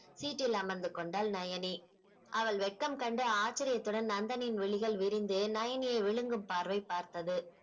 seat டில் அமர்ந்து கொண்டாள் நயனி அவள் வெட்கம் கண்டு ஆட்சிரியத்துடன் நந்தனின் விழிகள் விரிந்து நயனியை விழுங்கும் பார்வை பார்த்தது